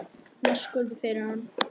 Hún var sköpuð fyrir hann.